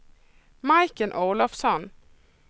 Majken Olofsson